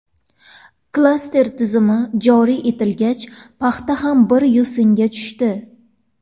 Klaster tizimi joriy etilgach, paxta ham bir yo‘singa tushdi.